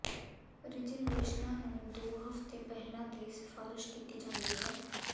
ਰਿਜ਼ਰਵੇਸ਼ਨਾਂ ਨੂੰ ਦੋ ਹਫ਼ਤੇ ਪਹਿਲਾਂ ਦੀ ਸਿਫਾਰਸ਼ ਕੀਤੀ ਜਾਂਦੀ ਹੈ